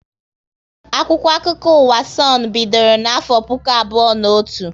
Akwụkwọ akụkọ ụwa Sonu bidoro na afọ puku abụọ na otu